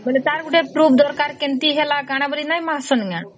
ବେଳେ ତାର ଗୋଟେ proof ଦରକାର କେମିତି ହେଲା କଣ ବାରି ନାଇଁ ଆସୁନ